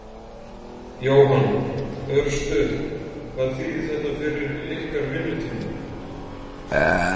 Jóhann: Örstutt, hvað þýðir þetta fyrir ykkar vinnutíma?